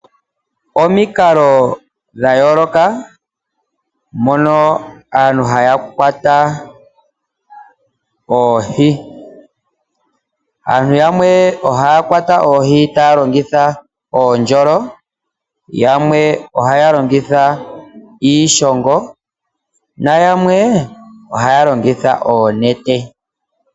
Omikalo dhayooloka mono aantu haya kwata oohi, aantu yamwe ohaya kwata oohi taya longitha oondjolo, yamwe ohaya longitha iishongo nayamwe ohaya longitha oonete.